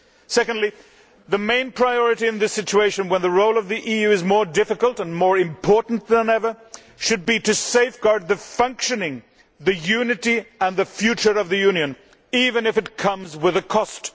Secondly, the main priority in this situation, when the role of the EU is more difficult and more important than ever, should be to safeguard the functioning, the unity and the future of the Union, even if it comes at a cost.